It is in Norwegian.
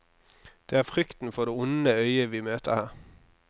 Det er frykten for det onde øyet vi møter her.